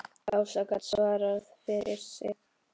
Ása gat svarað fyrir sig.